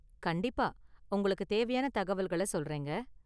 கண்டிப்பா உங்களுக்கு தேவையான தகவல்கள சொல்றேங்க.